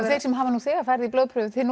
þeir sem hafa nú þegar farið í blóðprufu þeir